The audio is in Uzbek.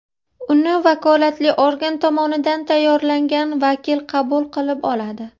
Uni vakolatli organ tomonidan tayyorlangan vakil qabul qilib oladi.